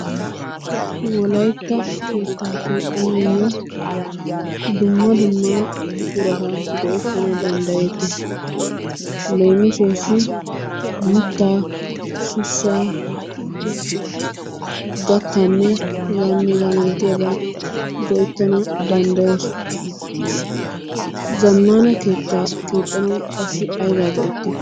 Wolaytta keetta keexxanayyo dumma dumma buqurata go''ettanaw danddayettees. Leemisuwassi mittaa, sussaa, gattanne heganne hegaa malatiyaaba go'ettana danddayoos. zammana keettaa keexxanaw qassi aybba go'ettiyo?